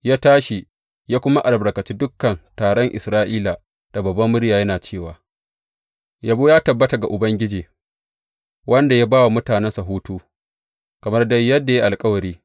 Ya tashi ya kuma albarkaci dukan taron Isra’ila da babbar murya, yana cewa, Yabo ya tabbata ga Ubangiji, wanda ya ba wa mutanensa hutu kamar dai yadda ya yi alkawari.